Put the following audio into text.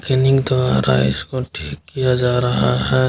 Feeling तो आ रहा है इसको ठीक किया जा रहा है।